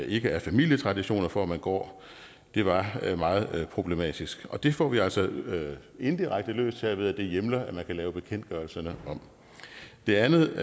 ikke er familietraditioner for at man går det var meget problematisk og det får vi altså indirekte løst her ved at det hjemler at man kan lave bekendtgørelserne om det andet